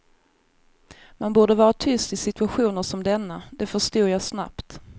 Man borde vara tyst i situationer som denna, det förstod jag snabbt.